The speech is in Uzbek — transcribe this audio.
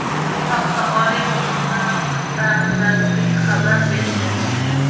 Bu haqda Oliy va o‘rta maxsus ta’lim vazirligi xabar berdi.